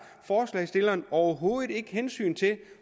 forslagsstilleren overhovedet ikke hensyn til